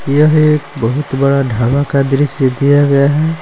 यह एक बहुत बड़ा ढाबा का दृश्य दिया गया है।